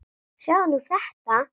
Sjáðu nú þetta!